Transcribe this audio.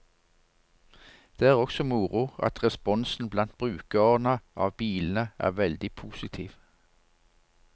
Det er også moro at responsen blant brukerne av bilene er veldig positiv.